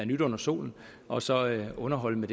nyt under solen og så underholde med